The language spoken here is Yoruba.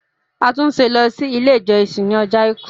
Atunse ló si ile ijọsin ní Ọjọ́ aìkú!